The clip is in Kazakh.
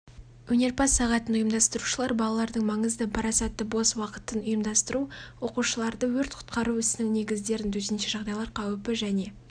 өнерпаз-сағатын ұйымдастырушылар балалардың маңызды парасатты бос уақытын ұйымдастыру оқушыларды өрт-құтқару ісінің негіздерін төтенше жағдайлар қауіпі және